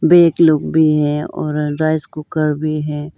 भी लोग भी हैं और राइस कुकर भी है।